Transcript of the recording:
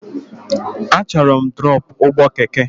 Achọrọ m drọpụ ụgbọ keke!